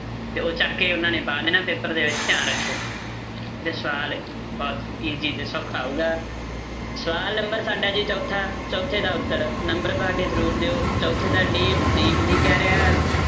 ਤੇ ਉਹ ਚੱਕ ਕੇ ਉਹਨਾਂ ਨੇ ਪਾ ਦੇਣਾ paper ਦੇ ਵਿੱਚ ਧਿਆਨ ਰੱਖਿਓ ਇਹ ਸਵਾਲ ਬਹੁਤ easy ਤੇ ਸੌਖਾ ਸਵਾਲ number ਸਾਡਾ ਜੀ ਚੌਥਾ ਚੌਥੇ ਦਾ ਉੱਤਰ number ਪਾ ਕੇ ਜ਼ਰੂਰ ਦਿਓ ਚੌਥੇ ਦਾ d ਕਹਿ ਰਿਹਾ